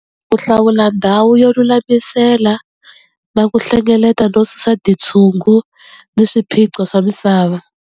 Ku hlawula ndhawu yo lulamisela na ku hlengeleta no susa titshungu ni swiphiqo swa misava.